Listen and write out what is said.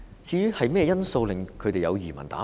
甚麼原因令他們有移民打算？